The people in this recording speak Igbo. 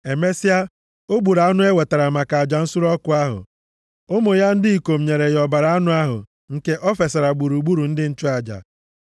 Emesịa, o gburu anụ e wetara maka aja nsure ọkụ ahụ. Ụmụ ya ndị ikom nyere ya ọbara anụ ahụ, nke o fesara gburugburu ebe ịchụ aja.